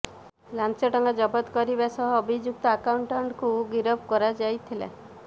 ଲାଞ୍ଚ ଟଙ୍କା ଜବତ କରିବା ସହ ଅଭିଯୁକ୍ତ ଆକାଉଣ୍ଟାଣ୍ଟଙ୍କୁ ଗିରଫ କରାଯାଇଥିଲା